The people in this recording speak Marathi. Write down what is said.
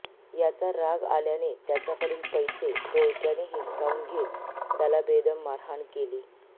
याचा राग आल्याने त्याच्याकडील पैसे टोळक्याने हिसकाऊन घेत त्याला बेदम मारहाण केली